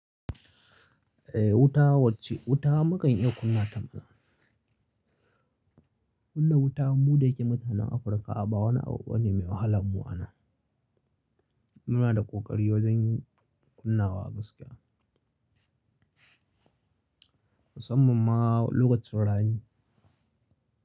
Eh wuta wacce wuta mukan iya kunna ta mana. Kunna wuta muɗa yake mutanen Afirka a ba wani abu bane mai wahala mu anan. Muna da ƙoƙari wajen yin kunnawa gaskiya. Musamman ma lokacin rani.